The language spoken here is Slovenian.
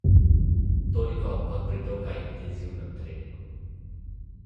Sodba bo izšla pisno.